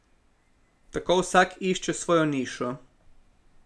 Tako vsak išče svojo nišo.